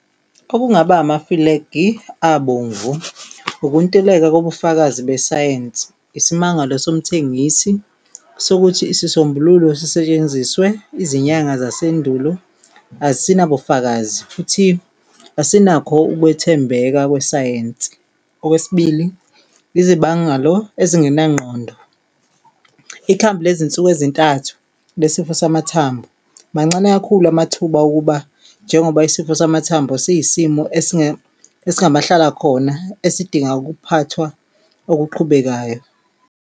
Okungaba amafulegi abomvu ukuntuleka kobufakazi besayensi, isimangalo somthengisi sokuthi isisombululo sisetshenziswe izinyanga yasendulo, asinabufakazi futhi asinakho ukwethembeka kwesayensi. Okwesibili, izibangalo ezingenangqondo, ikhambi lezinsuku ezintathu nesifo samathambo mancane kakhulu amathuba okuba njengoba isifo samathambo siyisimo esingamahlalakhona esidinga ukuphathwa okuqhubekayo.